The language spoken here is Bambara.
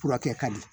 Furakɛ ka di